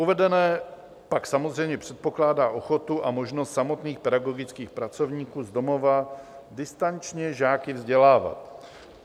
Uvedené pak samozřejmě předpokládá ochotu a možnost samotných pedagogických pracovníků z domova distančně žáky vzdělávat.